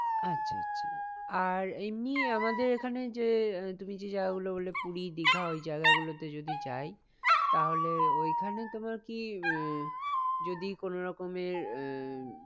আচ্ছা আচ্ছা আর এমনি আমাদের এখানে যে আহ তুমি যে জায়গা গুলো বললে পুরী দীঘা ওই জায়গা গুলোতে যদি যাই তাহলে ওইখানে তোমার কি আহ যদি কোনো রকমের আহ